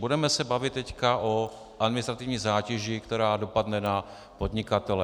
Budeme se bavit teď o administrativní zátěži, která dopadne na podnikatele.